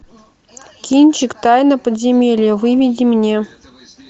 кинчик тайна подземелья выведи мне